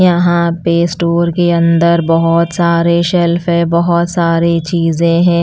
यहाँ पे स्टोर के अंदर बहुत सारे शेल्फ है बहुत सारी चीजें हैं।